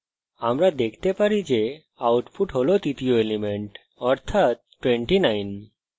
আমরা দেখতে পারি output হল তৃতীয় element অর্থাত 29